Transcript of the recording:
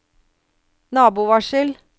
nabovarsel